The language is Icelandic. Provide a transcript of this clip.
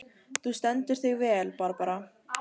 Þú stendur þig vel, Barbara!